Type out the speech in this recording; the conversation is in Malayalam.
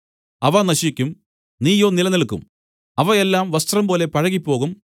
അവ നശിക്കും നീയോ നിലനില്ക്കും അവ എല്ലാം വസ്ത്രംപോലെ പഴകിപ്പോകും